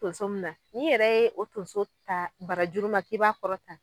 Tunso min na ni yɛrɛ ye o tunso ta bara juru man ki b'a kɔrɔ tan.